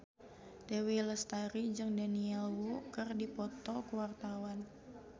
Dewi Lestari jeung Daniel Wu keur dipoto ku wartawan